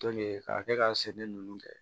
k'a kɛ ka sɛnɛ ninnu kɛ